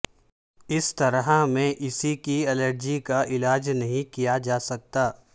اس طرح میں اسی کی الرجی کا علاج نہیں کیا جا سکتا